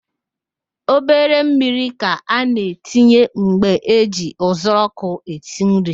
Obere mmiri ka a na-etinye mgbe eji uzuọkụ esi nri